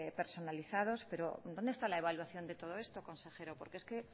personalizados pero dónde está la evaluación de todo esto consejero porque